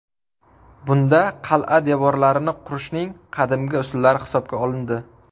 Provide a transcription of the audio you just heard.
Bunda qal’a devorlarini qurishning qadimgi usullari hisobga olindi.